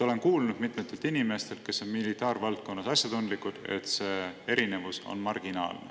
Olen kuulnud mitmetelt inimestelt, kes on militaarvaldkonnas asjatundlikud, et see erinevus on marginaalne.